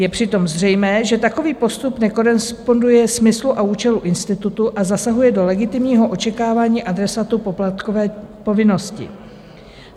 Je přitom zřejmé, že takový postup nekoresponduje smyslu a účelu institutu a zasahuje do legitimního očekávání adresátů poplatkové povinnosti.